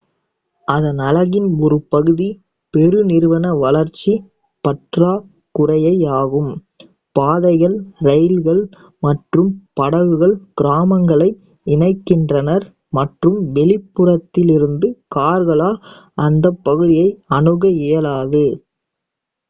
அதன் அழகின் ஒரு பகுதி பெருநிறுவன வளர்ச்சி பற்றாக்குறையே ஆகும் பாதைகள் இரயில்கள் மற்றும் படகுகள் கிராமங்களை இணைக்கின்றன மற்றும் வெளிப்புறத்திலிருந்து கார்களால் அந்த பகுதியை அணுக இயலாது